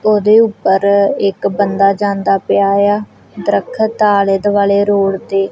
ਉਹਦੇ ਉੱਪਰ ਇੱਕ ਬੰਦਾ ਜਾਂਦਾ ਪਿਆ ਆ ਦਰਖਤ ਆਲੇ ਦੁਆਲੇ ਰੋਡ ਤੇ--